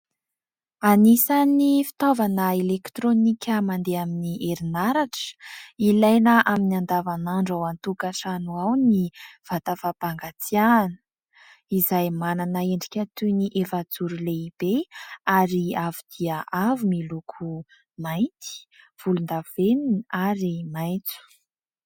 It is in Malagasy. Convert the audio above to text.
Anisan'ny fitaovana elektronika mandeha amin'ny herinaratra, ilaina amin'ny andavanandro ao an-tokatrano ao ny vata fampangatsiahana izay manana endrika toy ny efajoro lehibe ary avo dia avo miloko mainty, volondavenona ary maitso.